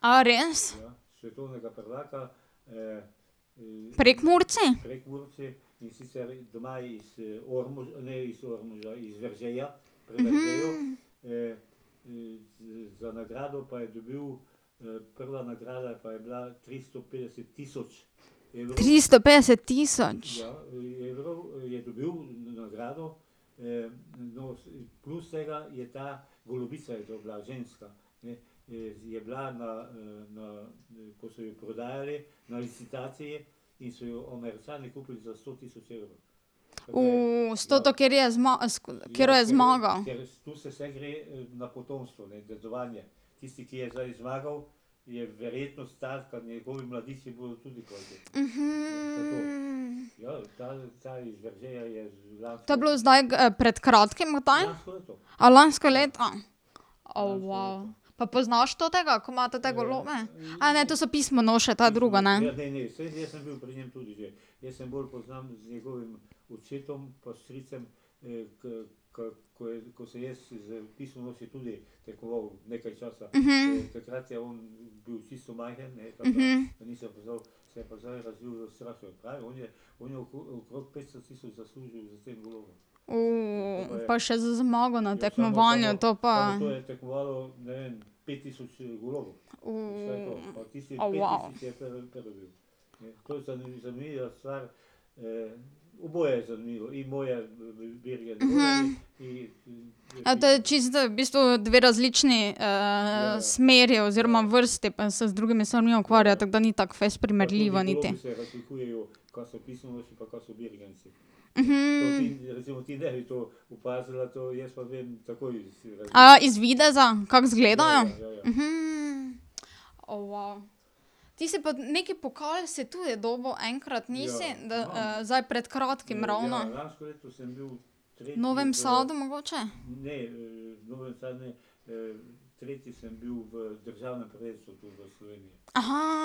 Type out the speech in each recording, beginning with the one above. A res? Prekmurci? Tristo petdeset tisoč? s toto, katero je katero je zmagal. To je bilo zdaj pred kratkim kdaj? A lansko leto? O Pa poznaš totega, ko ima tote golobe? ne, to so pismonoše, to je drugo, ne? pa še zmago na tekmovanju, to pa ... O A to je čisto, v bistvu, dve različni smeri oziroma vrsti, pa se z drugimi stvari ukvarja, tako da ni tako fejst primerljivo niti? A iz videza, kako izgledajo? O Ti si pa neki pokal, si tudi dobil enkrat, nisi? zdaj pred kratkim ravno. Novem Sadu mogoče?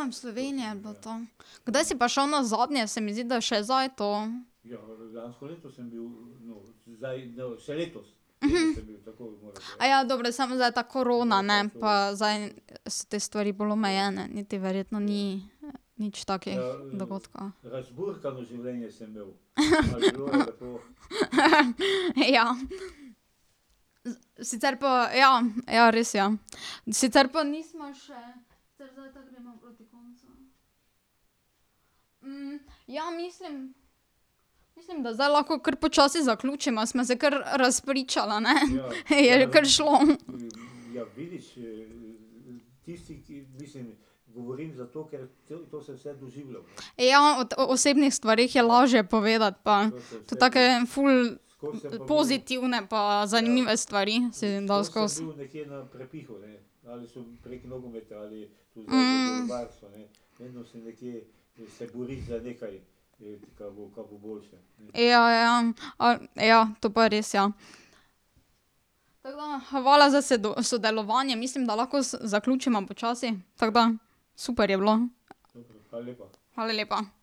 v Sloveniji ne bilo to. Kdaj si pa šel nazadnje, se mi zdi, da je še zdaj to? dobro, samo zdaj ta korona, ne, pa zdaj se te stvari bolj omejene, niti verjetno ni nič takih dogodkov. Ja. Sicer pa ja, ja, res, ja. Sicer pa nisva še, sicer zdaj tako greva proti koncu ... ja, mislim, mislim, da zdaj lahko kar počasi zaključiva, sva se kar razpričala, ne? Je kar šlo. Ja, od osebnih stvareh je lažje povedati pa tudi take ful pozitivne pa zanimive stvari se da skoz. Ja, ja, ja, to pa res, ja. Tako da, hvala za sodelovanje, mislim, da lahko zaključiva počasi. Tako da, super je bilo. Hvala lepa.